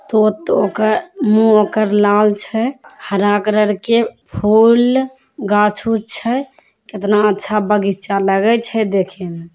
तो तो ओकर लाल छै हरा कलर के फुल गाछ ऊछ छैकितना अच्छा बगीचा लगय छै देखे में ।